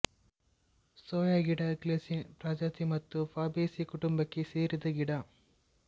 ಸೋಯಾಗಿಡ Glycine ಪ್ರಜಾತಿ ಮತ್ತು Fabaceae ಕುಟುಂಬಕ್ಕೆ ಸೇರಿದ ಗಿಡ